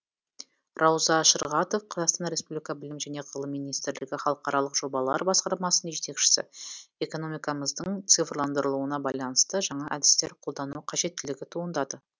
рауза шырғатов қазақстан республикасы білім және ғылым министрлігі халықаралық жобалар басқармасының жетекшісі экономикамыздың цифрландырылуына байланысты жаңа әдістер қолдану қажеттілігі туындады